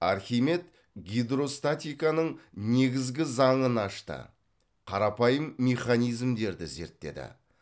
архимед гидростатиканың негізгі заңын ашты қарапайым механизмдерді зерттеді